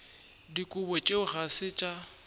dikobo tšeo ga se tša